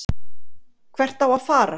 Hvert á að fara?